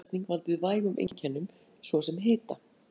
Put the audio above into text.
Stundum getur bólusetning valdið vægum einkennum, svo sem hita.